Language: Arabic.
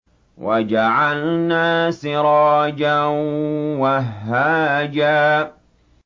وَجَعَلْنَا سِرَاجًا وَهَّاجًا